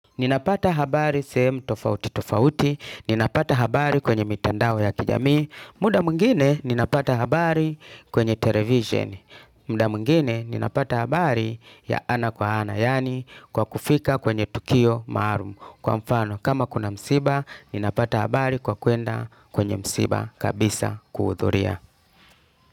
Ninapata habari sehemu tofauti tofauti, ninapata habari kwenye mitandao ya kijamii, muda mwingine ninapata habari kwenye televisheni, muda mwingine ninapata habari ya ana kwa ana yani kwa kufika kwenye tukio maarum kwa mfano kama kuna msiba ninapata habari kwa kuenda kwenye msiba kabisa kuhudhuria.